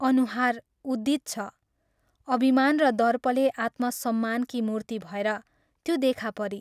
अनुहार उद्दीत छ अभिमान र दर्पले आत्मसम्मानकी मूर्ति भएर त्यो देखा परी।